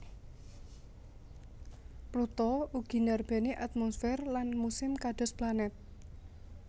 Pluto ugi ndarbèni atmosfer lan musim kados planet